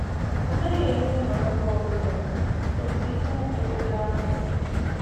A naghị enye ụmụaka ọ bụla otu ihe ùgwù ndị ahụ